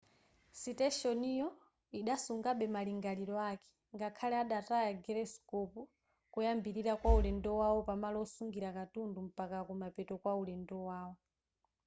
siteshoniyo idasungabe malingaliro ake ngakhale adataya gyroscope koyambirira kwa ulendo wawo pamalo osungira katundu mpaka kumapeto kwa ulendo wawo